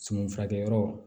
Suman furakɛ yɔrɔ